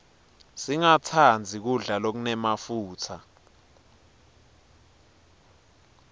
singastandzi kudla lokunemafutsa